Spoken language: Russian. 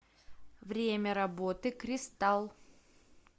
время работы кристалл